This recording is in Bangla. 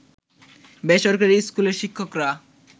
বেসরকারি স্কুলের শিক্ষকরা